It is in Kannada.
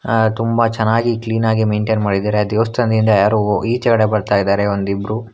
ಅ ತುಂಬ ಚೆನ್ನಾಗಿ ಕ್ಲೀನಾಗಿ ಮೆಂಟೇನ್ ಮಾಡಿದ್ದಾರೆ ಆ ದೇವಸ್ಥಾನದಿಂದ ಯಾರು ಈಚೆಕಡೆ ಬರ್ತಾ ಇದ್ದಾರೆ ಒಂದಿಬ್ರು.